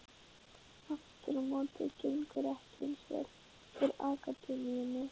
Aftur á móti gengur ekki eins vel fyrir akademíunni.